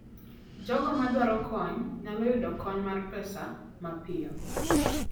Jogo madwaro kony nyalo yudo kony mar pesa mapiyo.